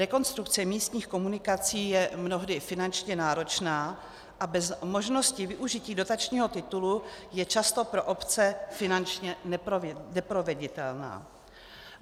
Rekonstrukce místních komunikací je mnohdy finančně náročná a bez možnosti využití dotačního titulu je často pro obce finančně neproveditelná.